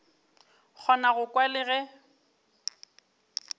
kgona go kwa le ge